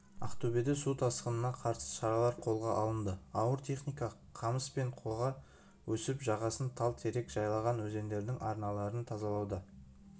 ақтөбеде су тасқынына қарсы шаралар қолға алынды ауыр техника қамыс пен қоға өсіп жағасын тал-терек жайлаған өзендердің арналарын тазалауда